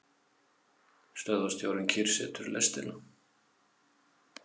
Stöðvarstjórinn kyrrsetur lestina.